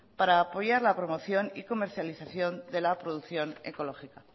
para apoyar la promoción y comercialización de la producción ecológica